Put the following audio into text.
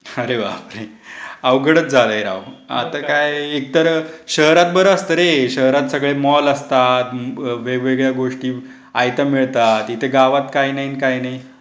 अरे बापरे! अवघडच झालंय राव! आता काय एकतर शहरात बरं असतं रे. शहरात सगळे मॉल असतात वेगवेगळ्या गोष्टी आहेत्या मिळत असतात इथे गावात काही नाही अन काही नाही.